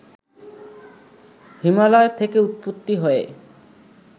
হিমালয় থেকে উৎপত্তি হয়ে